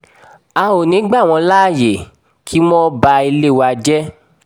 a ò ní í gbà wọ́n láàyè kí wọ́n ba ilé wa jẹ́